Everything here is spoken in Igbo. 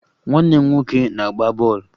Nwanne m nwoke na-agba ball